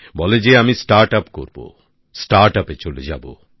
বলে যে আমি স্টার্টআপ করব নতুন উদ্যোগে চলে যাব